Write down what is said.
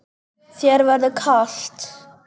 Þér verður kalt